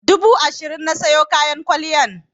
Dubu ashirin na siyo kayan kwalliyan.